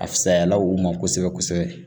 A fisayala u ma kosɛbɛ kosɛbɛ